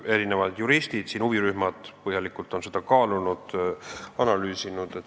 Erinevad juristid ja huvirühmad on eelnõu põhjalikult kaalunud ja analüüsinud.